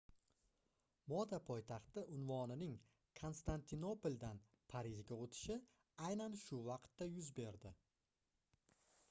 moda poytaxti unvonining konstantinopoldan parijga oʻtishi aynan shu vaqtda yuz berdi